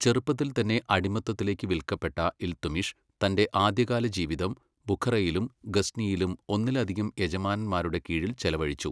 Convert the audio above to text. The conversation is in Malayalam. ചെറുപ്പത്തിൽ തന്നെ അടിമത്തത്തിലേക്ക് വില്ക്കപ്പെട്ട ഇൽതുമിഷ് തന്റെ ആദ്യകാല ജീവിതം ബുഖറയിലും ഗസ്നിയിലും ഒന്നിലധികം യജമാനന്മാരുടെ കീഴിൽ ചെലവഴിച്ചു.